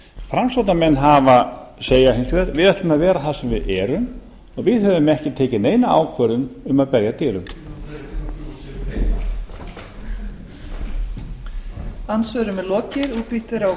framsóknarmenn segja hins vegar við ætlum að vera þar sem við erum og við höfum ekki tekið neina ákvörðun um að berja að dyrum